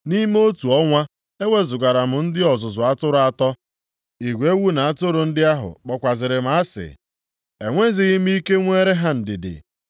Nʼime otu ọnwa, ewezugara m ndị ọzụzụ atụrụ atọ. Igwe ewu na atụrụ ndị ahụ kpọkwazịrị m asị, enwezighị m ike nweere ha ndidi.